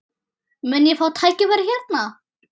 Mun ég fá tækifæri hérna?